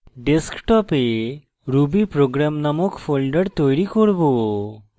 ডেস্কটপে rubyprogram named folder তৈরী করব